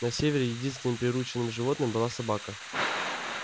на севере единственным приручённым животным была собака